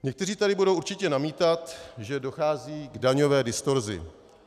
Někteří tady budou určitě namítat, že dochází k daňové distorzi.